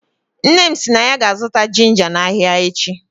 Nne m si na ya ga-azụta ginga na ahịa echi.